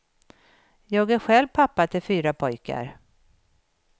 Jag är själv pappa till fyra pojkar.